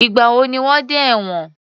Ìgbà wo ni wọ́n dẹ́ ẹ̀wòn?